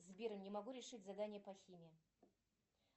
сбер не могу решить задание по химии